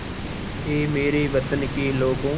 ऐ मेरे वतन के लोगों